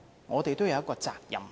我們是有責任的。